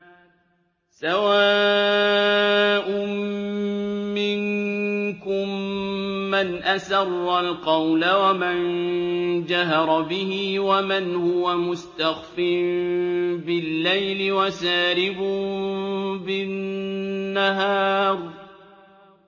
سَوَاءٌ مِّنكُم مَّنْ أَسَرَّ الْقَوْلَ وَمَن جَهَرَ بِهِ وَمَنْ هُوَ مُسْتَخْفٍ بِاللَّيْلِ وَسَارِبٌ بِالنَّهَارِ